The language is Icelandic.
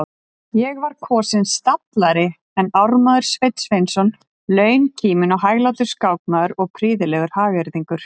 Ég var kosinn stallari en ármaður Sveinn Sveinsson, launkíminn og hæglátur skákmaður og prýðilegur hagyrðingur.